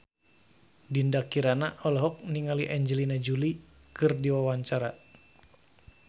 Dinda Kirana olohok ningali Angelina Jolie keur diwawancara